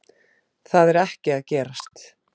Það er ekki að gerast